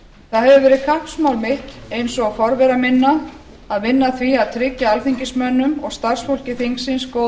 hefur verið kappsmál mitt eins og forvera minna að vinna að því að tryggja alþingismönnum og starfsfólki þingsins góð